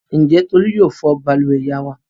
Ǹjẹ́ Tolú yóò fọ balùwẹ̀ ìyá wa?